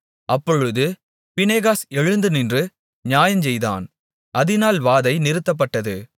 அப்பொழுது பினெகாஸ் எழுந்து நின்று நியாயஞ்செய்தான் அதினால் வாதை நிறுத்தப்பட்டது